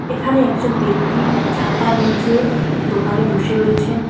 এখানে একজন ব্যক্তি ছাতার নিচে একটি দোকানে বসে রয়েছেন।